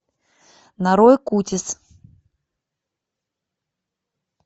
нарой кутис